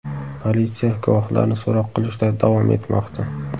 Politsiya guvohlarni so‘roq qilishda davom etmoqda.